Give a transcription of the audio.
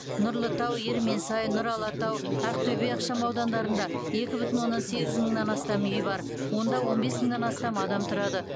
нұрлытау ерменсай нұр алатау ақтөбе ықшамаудандарында екі бүтін оннан сегіз мыңнан астам үй бар онда он бес мыңнан астам адам тұрады